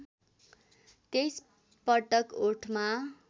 २३ पटक ओठमा